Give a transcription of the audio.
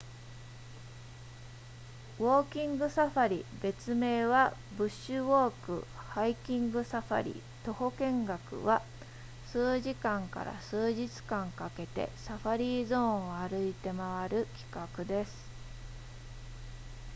ウォーキングサファリ別名は「ブッシュウォーク」、「ハイキングサファリ」、「徒歩見学」は、数時間から数日間かけてサファリゾーンを歩いて回る企画です